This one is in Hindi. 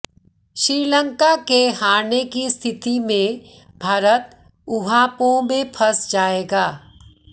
श्रीलंका के हारने की स्थिति में भारत ऊहापोह में फंस जाएगा